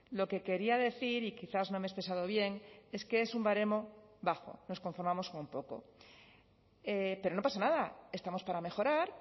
lo que quería decir y quizás no me he expresado bien es que es un baremo bajo nos conformamos con poco pero no pasa nada estamos para mejorar